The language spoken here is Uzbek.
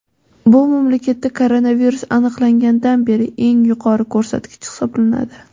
Bu mamlakatda koronavirus aniqlangandan beri eng yuqori ko‘rsatkich hisoblanadi.